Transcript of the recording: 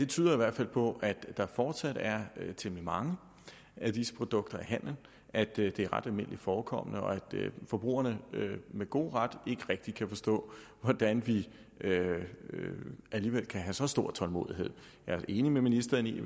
tyder på at der fortsat er temmelig mange af disse produkter i handelen at det er ret almindeligt forekommende og at forbrugerne med god ret ikke rigtig kan forstå hvordan vi alligevel kan have så stor tålmodighed jeg er enig med ministeren i